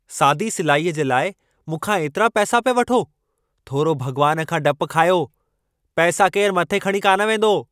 सादी सिलाईअ जे लाइ मूंखां एतिरा पैसा पिया वठो! थोरो भगि॒वानु खां डप खायो , पैसा केरु मथे खणी कान वेंदो!